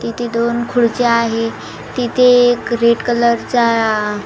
तिथे दोन खुर्च्या आहेत तिथे एक रेड कलर चा--